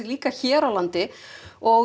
hér á landi og